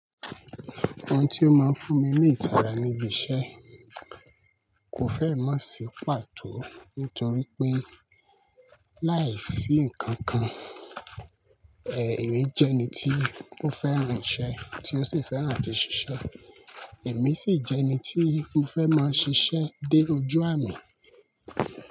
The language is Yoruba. Àwọn tí ó máa ń fún mi ní ìtara níbi iṣẹ́z kò fẹ́ mọ̀ sí pàtó nítorí pé láìsí nǹkan kan, èmi jẹ́ ẹni tí ó fẹ́ràn iṣẹ́ tí ó sì fẹ́ràn àti ṣiṣẹ́. Èmi sì jẹ́ ẹni tí ó fẹ́ máa ṣiṣẹ́ dé ojú àmì.